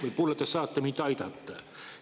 Võib-olla te saate mind aidata.